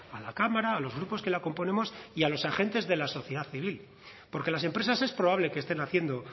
a la cámara a los grupos que la componemos y a los agentes de la sociedad civil porque las empresas es probable que estén haciendo